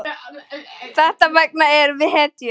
Þess vegna erum við hetjur.